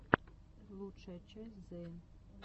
лучшая часть зэйн